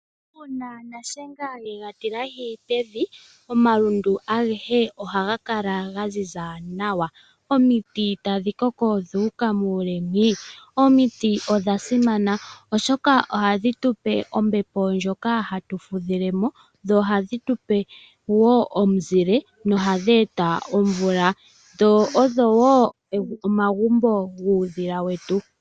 Uuna nashenga ye ga tilahi pevi, omalundu agehe ohaga kala ga ziza nawa. Omiti tadhi koko dhu uka muule mwii. Omiti odha simana, oshoka ohadhi tu pe ombepo ndjoka hatu fudhile mo dho ohadhi tu pe wo omuzile nohadhi eta omvula. Dho odho wo omagumbo guudhila wetu.